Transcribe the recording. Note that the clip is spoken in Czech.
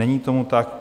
Není tomu tak.